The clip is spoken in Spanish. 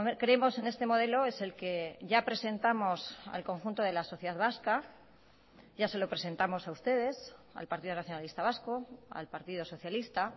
creemos en este modelo es el que ya presentamos al conjunto de la sociedad vasca ya se lo presentamos a ustedes al partido nacionalista vasco al partido socialista